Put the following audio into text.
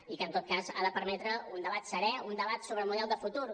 i que en tot cas ha de permetre un debat serè un debat sobre model de futur